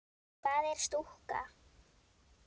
Hvað er stúka?